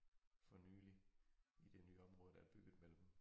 For nyligt i det nye område der bygget mellem